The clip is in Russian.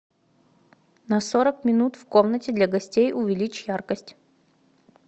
на сорок минут в комнате для гостей увеличь яркость